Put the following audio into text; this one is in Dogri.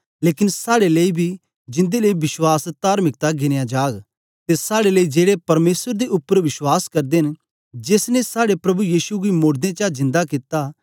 लेकन साड़े लेई बी जिन्दे लेई विश्वास तार्मिकता गिनया जाग ते साड़े लेई जेड़े परमेसर दे उपर बश्वास करदे न जेस ने साड़े प्रभु यीशु गी मोड़दें चा जिन्दा कित्ता